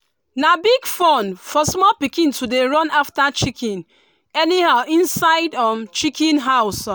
na big fun for small pikin to dey run after chicken anyhow inside um chicken house.